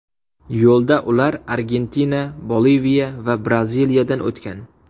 Yo‘lda ular Argentina, Boliviya va Braziliyadan o‘tgan.